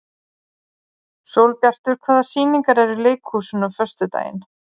Sólbjartur, hvaða sýningar eru í leikhúsinu á föstudaginn?